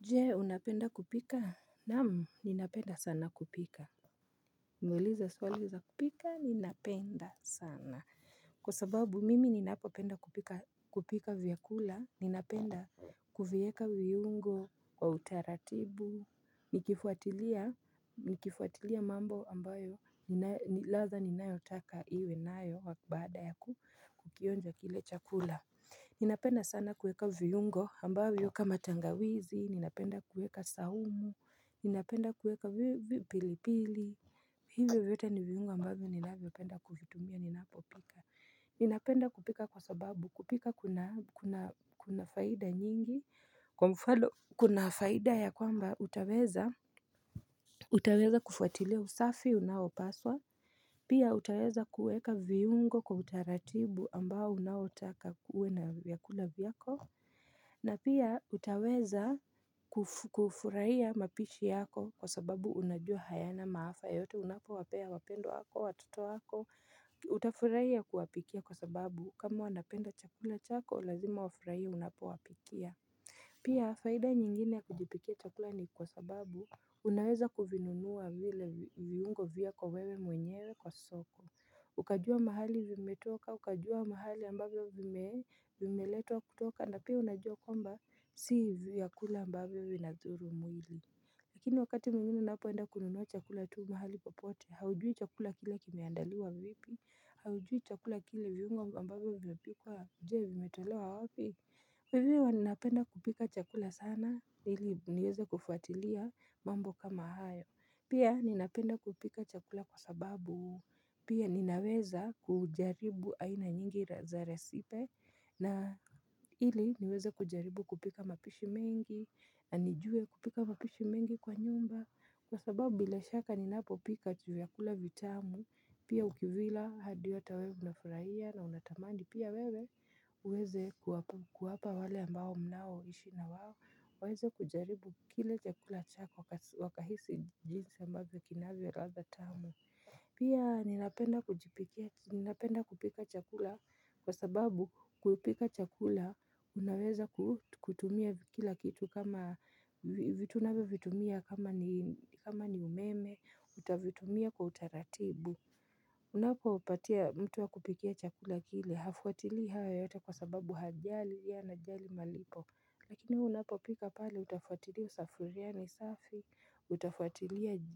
Jee, unapenda kupika? Nam, ninapenda sana kupika. Niulize swali za kupika, ninapenda sana. Kwa sababu, mimi ninapopenda kupika vyakula, ninapenda kuvieka viungo kwa utaratibu. Ni kifuatilia mambo ambayo latha ninayotaka iwe nayo baada yakukukionja kile chakula. Ninapenda sana kuweka viyungo ambavyo kama tangawizi, ninapenda kuweka sahumu, ninapenda kuweka pilipili Hivyo vyote ni viungo ambavyo ninavyopenda kuvitumia ninapo pika Ninapenda kupika kwa sababu kupika kuna faida nyingi kwa mfano Kuna faida ya kwamba utaweza kufuatilia usafi unaopaswa Pia utaweza kuweka viungo kwa utaratibu ambao unaotaka uwe na viyakula viyako. Na pia utaweza kufurahia mapishi yako kwa sababu unajua hayana maafa yote unapo wapea wapendwa wako, watoto wako, utafurahia kuwapikia kwa sababu, kama wanapenda chakula chako, lazima wafurahie unapo wapikia. Pia faida nyingine ya kujipikia chakula ni kwa sababu unaweza kuvinunua vile viungo vyako wewe mwenyewe kwa soko Ukajua mahali vimetoka ukajua mahali ambavyo vimeletwa kutoka, na pia unajua kwamba si vyakula ambavyo vinathuru mwili Lakini wakati mwingine unapo enda kununua chakula tu mahali popote haujui chakula kile kimeandaliwa vipi, haujui chakula kile viungo ambavyo vimepikwa. Je vimetolewa wapi? Hivyo napenda kupika chakula sana, ili niweze kufuatilia mambo kama haya. Pia ninapenda kupika chakula kwa sababu, pia ninaweza kujaribu aina nyingi za resipe, na ili niweze kujaribu kupika mapishi mengi, nanijuwe kupika mapishi mengi kwa nyumba. Kwa sababu bila shaka ninapo pika vyakula vitamu, pia ukivila hadi ata wewe unafurahia na unatamandi pia wewe uweze kuwapa wale ambao mnao ishi na wawo, waweze kujaribu kile chakula chako wakahisi jinsi ambavyo kinavyo latha tamu. Pia ninapenda kujipikia chakula kwa sababu kupika chakula unaweza kutumia kila kitu kama vitu unavyo vitumia kama kama ni umeme utavitumia kwa utaratibu Unapo patia mtu akupikie chakula kile hafuatili haya yata kwa sababu hajali yeye ana jali malipo. Lakini wewe unapo pika pale utafuatili sufuria zako ni safi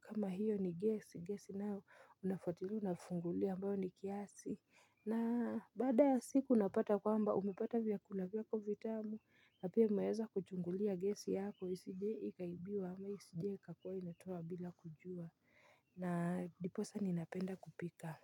kama hiyo ni gesi nayo unafuatilia nafungulia ambayo ni kiasi. Na baada ya siku unapata kwamba umepata vyakula vyako vitamu na pia unaweza kuchungulia gesi yako isijie ikaibiwa ama isijie ikakuwa inatoa bila kujua na ndiposa ninapenda kupika.